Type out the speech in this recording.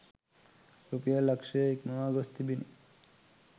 රුපියල් ලක්ෂය ඉක්මවා ගොස් තිබිණි.